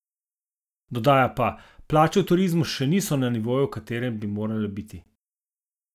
Dodaja pa: "Plače v turizmu še niso na nivoju v katerem bi morale biti.